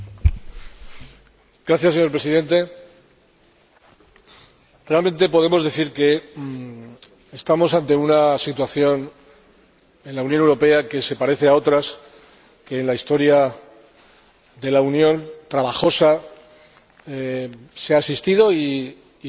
Señor Presidente, realmente podemos decir que estamos ante una situación en la Unión Europea que se parece a otras que en la historia de la Unión, trabajosa, han existido y se han resuelto favorablemente.